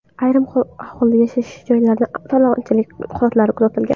Ayrim aholi yashash joylarida talonchilik holatlari kuzatilgan.